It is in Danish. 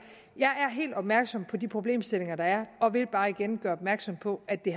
jeg er helt opmærksom på de problemstillinger der er og vil bare igen gøre opmærksom på at det